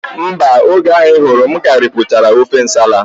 Mba, oge ahụ I hụrụ m ka m ripụchara ofe nsala